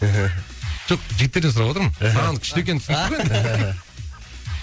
мхм жоқ жігіттерден сұрап отырмын мхм